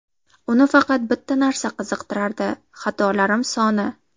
Uni faqat bitta narsa qiziqtirardi – xatolarim soni.